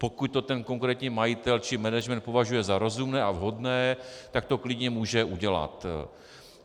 Pokud to ten konkrétní majitel či management považuje za rozumné a vhodné, tak to klidně může udělat.